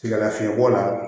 Sɛgɛn lafiɲɛbɔ la